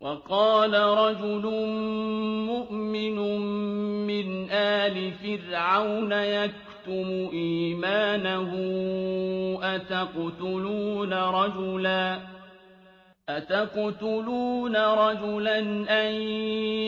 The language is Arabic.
وَقَالَ رَجُلٌ مُّؤْمِنٌ مِّنْ آلِ فِرْعَوْنَ يَكْتُمُ إِيمَانَهُ أَتَقْتُلُونَ رَجُلًا أَن